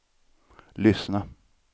lyssna